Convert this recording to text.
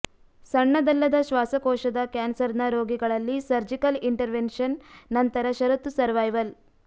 ಸಣ್ಣದಲ್ಲದ ಶ್ವಾಸಕೋಶದ ಕ್ಯಾನ್ಸರ್ನ ರೋಗಿಗಳಲ್ಲಿ ಸರ್ಜಿಕಲ್ ಇಂಟರ್ವೆನ್ಷನ್ ನಂತರ ಷರತ್ತು ಸರ್ವೈವಲ್